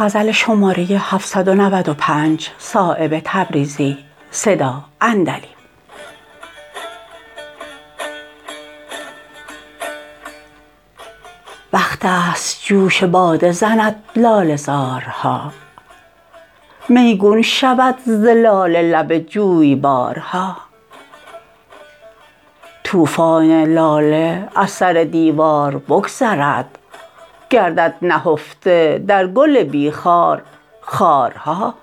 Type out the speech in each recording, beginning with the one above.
وقت است جوش باده زند لاله زارها میگون شود ز لاله لب جویبارها طوفان لاله از سر دیوار بگذرد گردد نهفته در گل بی خار خارها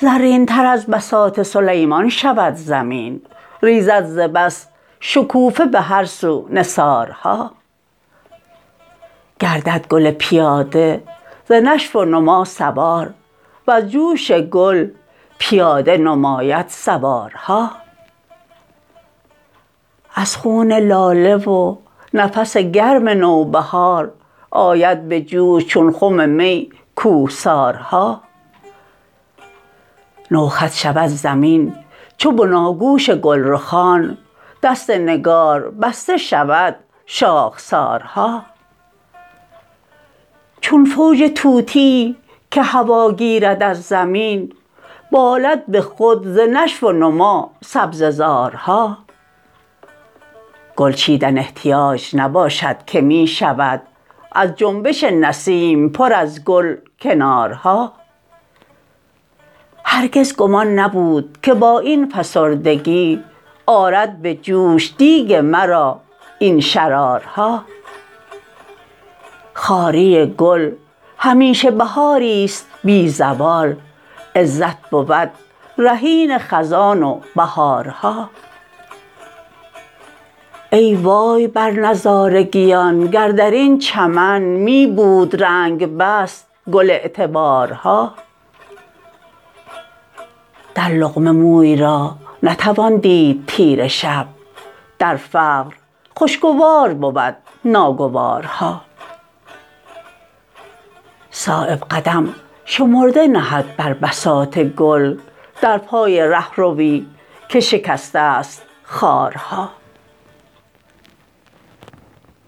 زرین تر از بساط سلیمان شود زمین ریزد ز بس شکوفه به هر سو نثارها گردد گل پیاده ز نشو و نما سوار وز جوش گل پیاده نماید سوارها از خون لاله و نفس گرم نوبهار آید به جوش چون خم می کوهسارها نوخط شود زمین چو بناگوش گلرخان دست نگار بسته شود شاخسارها چون فوج طوطیی که هوا گیرد از زمین بالد به خود ز نشو و نما سبزه زارها گل چیدن احتیاج نباشد که می شود از جنبش نسیم پر از گل کنارها هرگز گمان نبود که با این فسردگی آرد به جوش دیگ مرا این شرارها خواری گل همیشه بهاری است بی زوال عزت بود رهین خزان و بهارها ای وای بر نظارگیان گر درین چمن می بود رنگ بست گل اعتبارها در لقمه موی را نتوان دید تیره شب در فقر خوشگوار بود ناگوارها صایب قدم شمرده نهد بر بساط گل در پای رهروی که شکسته است خارها